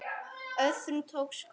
Öðrum til góðs.